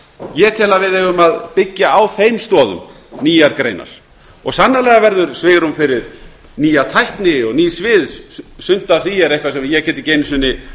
ég tel að við eigum að byggja á þeim stoðum nýjar greinar og sannarlega verður svigrúm fyrir nýja tækni og ný svið sumt af því er nokkuð sem ég get ekki einu sinni látið